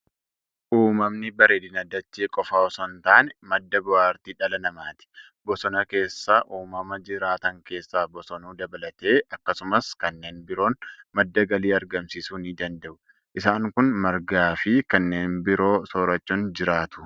Uumamni bareedina dachee qofa osoo hin taane, madda bohaartii dhala namaati. Bosona keessa uumama jiraatan keessaa bosonuu dabalatee, akkasumas kanneen biroon madda galii argamsiisuu ni danada'u. Isaan kun margaa fi kanneen biroo soorachuun jiraatu.